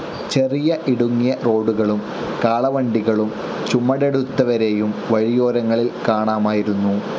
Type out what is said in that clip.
ചെറിയ ഇടുങ്ങിയ റോഡുകളും കാളവണ്ടികളും ചുമടെടുത്തവരേയും വഴിയോരങ്ങളിൽ കാണാമായിരുന്നു.